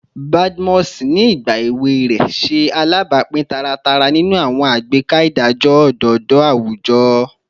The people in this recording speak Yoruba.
Badmus, ni igba ewe rẹ, ṣe alabapin taratara ninu awọn agbeka idajọ ododo awujọ